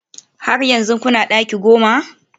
Har yanzu kuna daki goma?